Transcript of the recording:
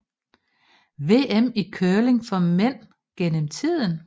VM i curling for mænd gennem tiden